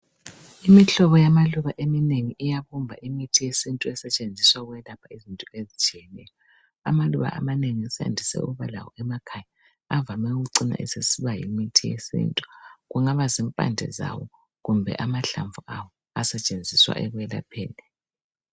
Imihlobo yamaluba eminengi iyabumba imithi yesintu esetshenziswa ukwelapha izinto ezitshiyeneyo. Amaluba amanengi esandise ukuba lawo nmaekhaya avame ukucina esesiba yimithi yesintu, kungaba zimpande zawo kumbe amahlamvu awo asetshenziswa ekwelapheni.